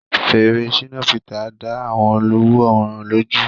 Fèrè Shina Peter dá àwọn olùwòran lójú.